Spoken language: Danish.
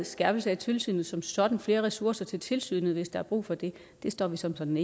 skærpelse af tilsynet som sådan flere ressourcer til tilsynet hvis der er brug for det står vi sådan